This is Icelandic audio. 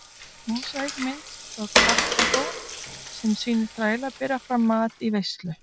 Mósaíkmynd frá Karþagó sem sýnir þræla bera fram mat í veislu.